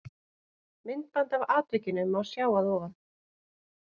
Myndband af atvikinu má sjá að ofan.